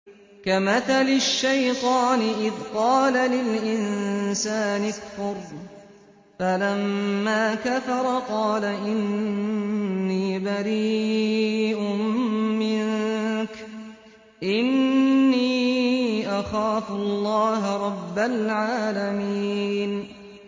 كَمَثَلِ الشَّيْطَانِ إِذْ قَالَ لِلْإِنسَانِ اكْفُرْ فَلَمَّا كَفَرَ قَالَ إِنِّي بَرِيءٌ مِّنكَ إِنِّي أَخَافُ اللَّهَ رَبَّ الْعَالَمِينَ